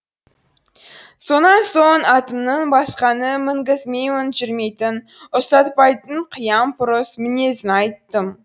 сонан соң атымның басқаны мінгізгенмен жүрмейтін ұстатпайтын қыямпұрыс мінезін айттым